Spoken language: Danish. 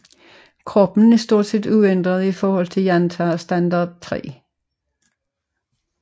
Kroppen er stort set uændret i forhold til Jantar Standard 3